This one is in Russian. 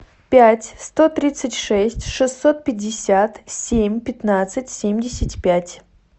пять сто тридцать шесть шестьсот пятьдесят семь пятнадцать семьдесят пять